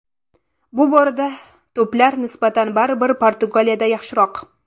Bu borada to‘plar nisbati baribir Portugaliyada yaxshiroq.